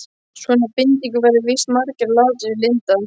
Svona bindingu verða víst margir að láta sér lynda.